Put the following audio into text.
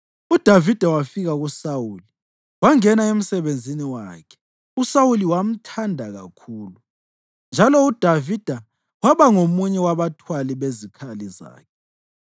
UDavida wafika kuSawuli wangena emsebenzini wakhe uSawuli wamthanda kakhulu, njalo uDavida waba ngomunye wabathwali bezikhali zakhe.